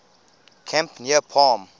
camp near palm